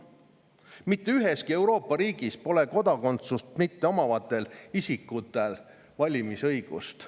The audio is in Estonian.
Mitte üheski Euroopa riigis pole kodakondsust mitteomavatel isikutel valimisõigust.